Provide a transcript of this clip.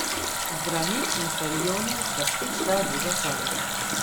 Zdravnik in Sorjonen sta spet šla v drugo sobo.